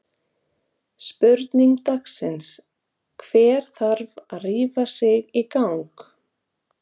Spurning dagsins: Hver þarf að rífa sig í gang?